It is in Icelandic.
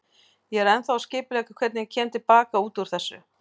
Ég er ennþá að skipuleggja hvernig ég kem til baka út úr þessu.